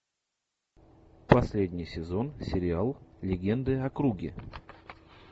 последний сезон сериал легенды о круге